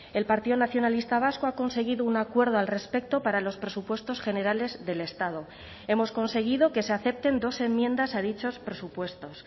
el partido nacionalista vasco ha conseguido un acuerdo al respecto para los presupuestos generales del estado hemos conseguido que se acepten dos enmiendas a dichos presupuestos